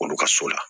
K'olu ka so la